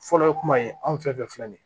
Fɔlɔ ye kuma ye anw fɛ filɛ nin ye